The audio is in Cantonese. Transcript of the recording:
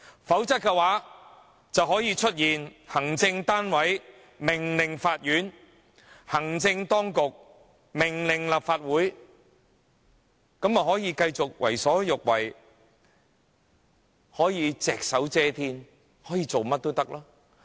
否則，便會出現行政單位命令法院，行政當局命令立法會；這樣行政單位便能夠繼續為所欲為、隻手遮天，想做甚麼都可以。